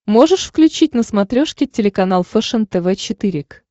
можешь включить на смотрешке телеканал фэшен тв четыре к